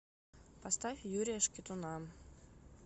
поставь юрия шкитуна